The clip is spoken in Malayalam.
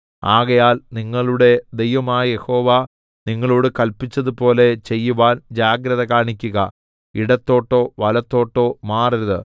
ആകയാൽ നിങ്ങളുടെ ദൈവമായ യഹോവ നിങ്ങളോട് കല്പിച്ചതുപോലെ ചെയ്യുവാൻ ജാഗ്രത കാണിക്കുക ഇടത്തോട്ടോ വലത്തോട്ടോ മാറരുത്